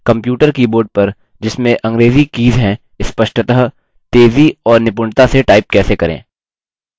computer keyboard पर जिसमें अंग्रेज़ी कीज हैं स्पष्टतः तेज़ी और निपुणता से टाइप कैसे करें